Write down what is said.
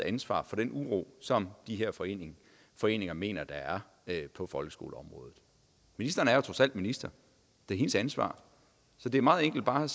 ansvar for den uro som de her foreninger foreninger mener der er på folkeskoleområdet ministeren er trods alt minister det er hendes ansvar så det er meget enkelt bare